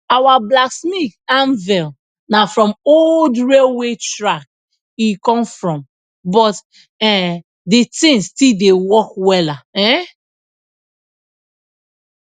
our blacksmith anvil na from old railway track e come from but um de thing still dey work wella um